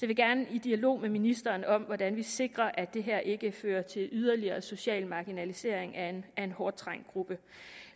vil gerne i dialog med ministeren om hvordan vi sikrer at det her ikke fører til yderligere social marginalisering af en hårdt trængt gruppe